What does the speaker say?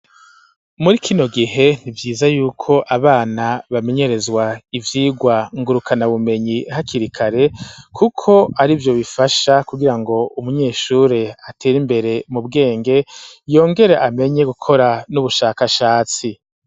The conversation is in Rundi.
Muri kino gihe ni vyiza yuko abana bamenyerezwa ivyirwa ngurukana bumenyi hakiri kare kuko arivyo bifasha kugira ngo umunyeshuri atera imbere mu bwenge yongere amenye gukora n'ubushakashatsi